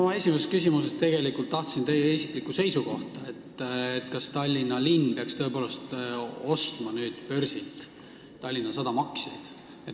Ma oma esimeses küsimuses tegelikult palusin teie isiklikku seisukohta, kas Tallinna linn peaks nüüd börsilt Tallinna Sadama aktsiaid ostma.